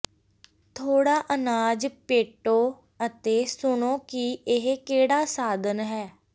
ਥੋੜਾ ਅਨਾਜ ਪੇਟੋ ਅਤੇ ਸੁਣੋ ਕਿ ਇਹ ਕਿਹੜਾ ਸਾਧਨ ਹੈ